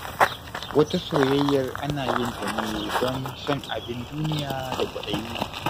Wata soyayyar ana yin ta ne don son abin duniya da kwaɗayi.